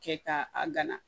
Kɛ ka a gana